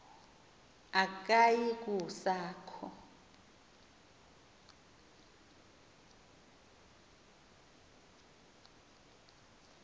akuyi kusa kho